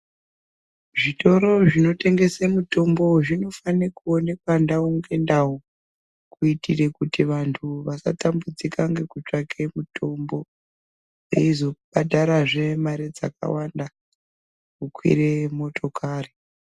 Zvitoro zvinotengesa mitombo dzinofane kuonekwa ndau nendau kuitire kuti vanthu vasatambudzika nekutsvake mutombo veizobhadharazve mari dzakawanda kukwira motokari.